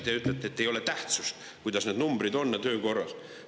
Teie ütlete, et ei ole tähtsust, kuidas need numbrid on ja kui töökorras see kõik on.